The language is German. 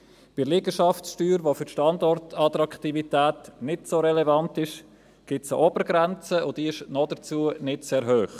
Bei der Liegenschaftssteuer, welche für die Standortattraktivität nicht so relevant ist, gibt es eine Obergrenze, und diese ist dazu nicht sehr hoch.